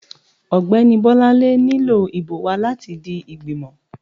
ọgbẹni Bolanle nílò ibò wa latí di ìgbímò